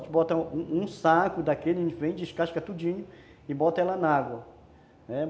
A gente bota um saco daquele, a gente vende, descasca tudinho e bota ela na água, né.